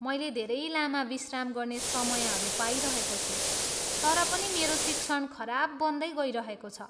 मैले धेरै लामा विश्राम गर्ने समयहरू पाइरहेको छु, तर पनि मेरो शिक्षण खराब बन्दै गइरहेको छ।